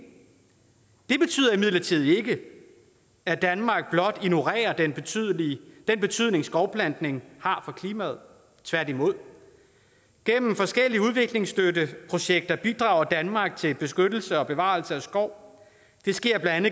det betyder imidlertid ikke at danmark blot ignorerer den betydning den betydning skovplantning har for klimaet tværtimod gennem forskellige udviklingsstøtteprojekter bidrager danmark til beskyttelse og bevarelse af skov det sker blandt